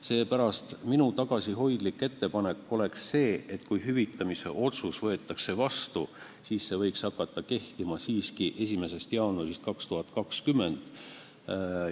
Seepärast on minu tagasihoidlik ettepanek see, et kui hüvitamise otsus võetakse vastu, siis see võiks hakata kehtima 1. jaanuaril 2020.